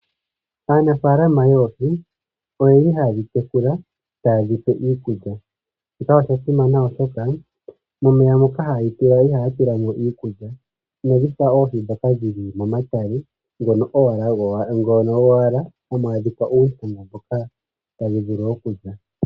Aanafalama yoohi oyeli haadhi tekula tadhipe iikulya. Shika osha simana oshoka momeya moka hayedhi tula ihaya tula mo iikulya. Inadhi fa oohi dhoka dhili momatale ngono gowala hamu adhika uukulya mboka tadhi vulu okulya.